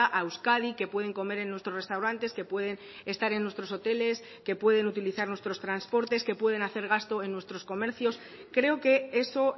a euskadi que pueden comer en nuestros restaurantes que pueden estar en nuestros hoteles que pueden utilizar nuestros transportes que pueden hacer gasto en nuestros comercios creo que eso